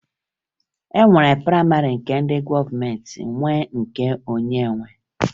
E nwere prayịmarị nke ndị gọọmenti nwe na nke onye nwe